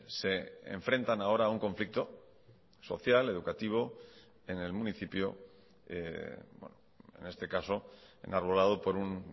se enfrentan ahora a un conflicto social educativo en el municipio en este caso enarbolado por un